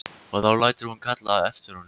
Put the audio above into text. Og þá lætur hún kalla eftir honum.